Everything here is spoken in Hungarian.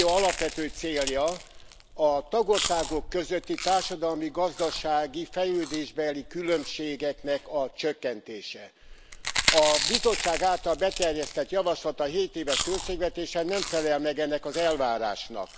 Az Unió alapvető célja a tagországok közötti társadalmi, gazdasági fejlődésbeli különbségeknek a csökkentése. A Bizottság által beterjesztett javaslat a hétéves költségvetésre, nem felel meg ennek az elvárásnak.